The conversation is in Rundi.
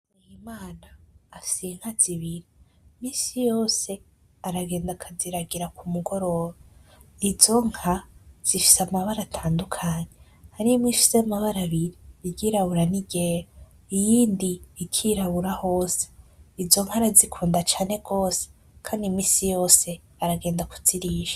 Muhimana afise inka zibiri iminsi yose aragenda akaziragira kumugoroba. izo nka zifise amabara atandukanye, harimwo imwe ifise amabara abiri iryirabura n’iryera iyindi ikirabura hose. Izo nka arazikunda cane gwose kandi iminsi yose aragenda kuzirisha.